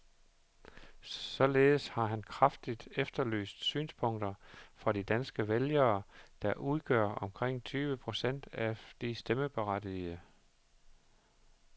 Således har han kraftigt efterlyst synspunkter fra de danske vælgere, der udgør omkring tyve procent af de stemmeberettigede.